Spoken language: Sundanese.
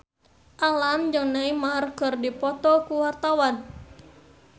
Alam jeung Neymar keur dipoto ku wartawan